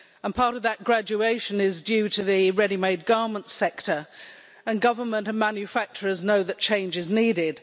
Part of that graduation is due to the ready-made garment sector, and government and manufacturers know that change is needed.